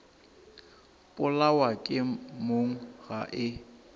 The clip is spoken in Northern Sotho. polawa ke mong ga e